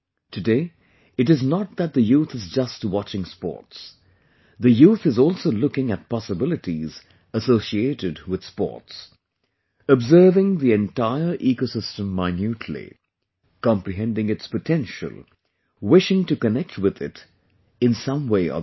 Today, it is not that the youth is just watching sports...the youth is also looking at possibilities associated with Sports...observing the entire eco system minutely...comprehending its potential, wishing to connect with it in some way or the other